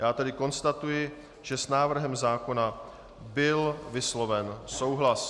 Já tedy konstatuji, že s návrhem zákona byl vysloven souhlas.